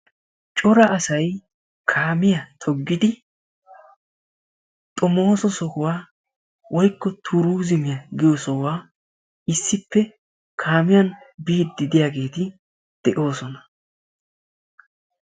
Cora asayi kaamiya toggidi xomooso sohuwa woykko turuuzimiya giyo sohuwa issippe kaamiyan biiddi de"iyageeti de"oosona.